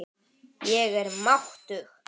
Ég er máttug.